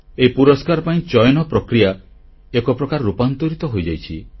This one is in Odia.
ଏହି ପୁରସ୍କାର ପାଇଁ ଚୟନ ପ୍ରକ୍ରିୟା ଏକପ୍ରକାର ରୂପାନ୍ତରିତ ହୋଇଯାଇଛି